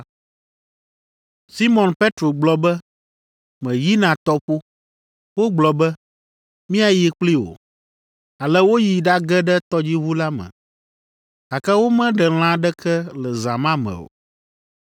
Simɔn Petro gblɔ be, “Meyina tɔƒo.” Wogblɔ be, “Míayi kpli wò.” Ale woyi ɖage ɖe tɔdziʋu la me, gake womeɖe lã aɖeke le zã ma me o.